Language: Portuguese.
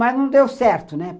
Mas não deu certo, né?